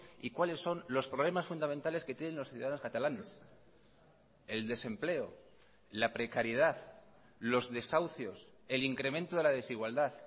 y cuáles son los problemas fundamentales que tienen los ciudadanos catalanes el desempleo la precariedad los desahucios el incremento de la desigualdad